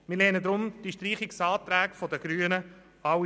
Wir lehnen deswegen alle Streichungsanträge der Grünen ab.